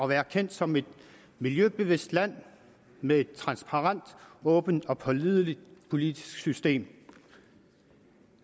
være kendt som et miljøbevidst land med et transparent åbent og pålideligt politisk system